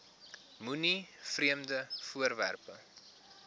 moenie vreemde voorwerpe